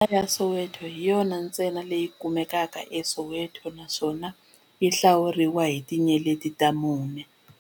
Hodela ya Soweto hi yona ntsena leyi kumekaka eSoweto, naswona yi hlawuriwa hi tinyeleti ta mune.